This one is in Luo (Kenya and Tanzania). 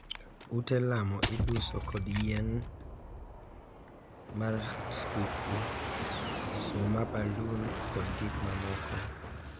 Ute lamo iduso kod yien mar skuku, msuma, balun kod gik mamoko.